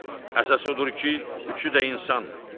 Əsası odur ki, üçü də insandır.